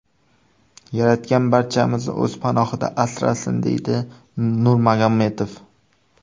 Yaratgan barchamizni o‘z panohida asrasin”, deydi Nurmagomedov.